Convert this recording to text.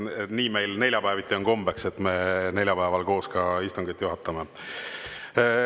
Nii on meil kombeks, et me neljapäeval juhatame istungit koos.